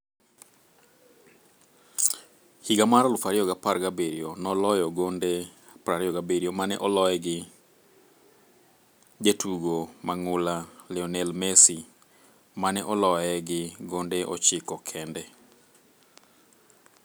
Higa mar 2017 noloyo gonde 27 mane oloye gi jatugo mang'ula Lionel Messi, mane oloye gi gonde 9 kende.